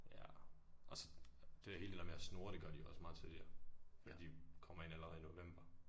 Jaer også det hele det der med at snurre det gør de jo også megte tidligt jo. Eller de kommer ind allerede i november